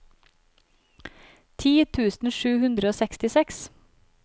ti tusen sju hundre og sekstiseks